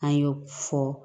An y'o fɔ